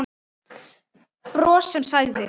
Bros sem sagði